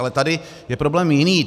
Ale tady je problém jiný.